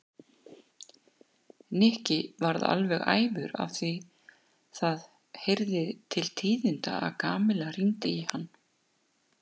Nikki varð alveg æfur því það heyrði til tíðinda að Kamilla hringdi í hann.